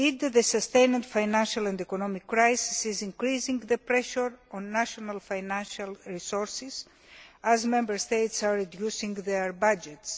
The sustained financial and economic crisis is indeed increasing the pressure on national financial resources as Member States reduce their budgets.